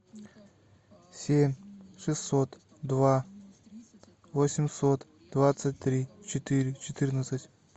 семь шестьсот два восемьсот двадцать три четыре четырнадцать